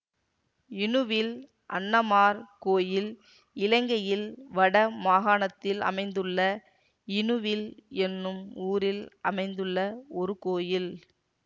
இணுவில் அண்ணமார் கோயில் இலங்கையின் வட மாகாணத்தில் அமைந்துள்ள இணுவில் என்னும் ஊரில் அமைந்துள்ள ஒரு கோயில்